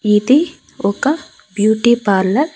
ఇది ఒక beauty parlour .